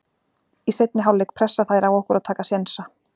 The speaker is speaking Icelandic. Í seinni hálfleik pressa þær á okkur og taka sénsa.